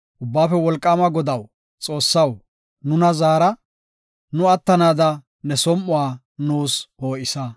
Ubbaafe Wolqaama Godaw Xoossaw, nuna zaara; nu attanaada ne som7uwa nuus poo7isa.